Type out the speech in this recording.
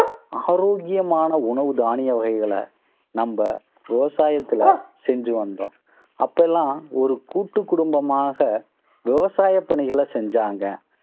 ஆரோக்கியமான உணவு தானிய வகைகளை நம்ம விவசாயத்துல செஞ்சு வந்தோம் அப்ப எல்லாம் ஒரு கூட்டுக்குடும்பமாக விவசாய பணிகளை செஞ்சாங்க.